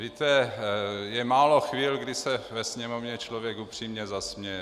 Víte, je málo chvil, kdy se ve Sněmovně člověk upřímně zasměje.